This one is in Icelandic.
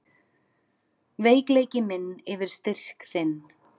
Veikleiki minn yfir styrk þinn.